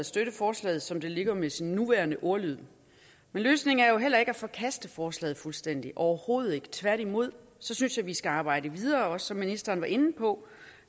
støtte forslaget som det ligger med sin nuværende ordlyd men løsningen er jo heller ikke at forkaste forslaget fuldstændigt overhovedet ikke tværtimod synes jeg vi skal arbejde videre som ministeren også var inde på